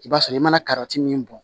I b'a sɔrɔ i mana kariti min bɔn